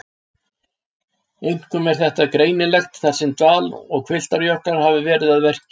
Einkum er þetta greinilegt þar sem dal- og hvilftarjöklar hafa verið að verki.